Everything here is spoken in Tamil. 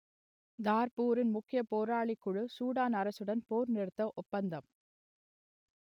தார்பூரின் முக்கிய போராளிக்குழு சூடான் அரசுடன் போர்நிறுத்த ஒப்பந்தம்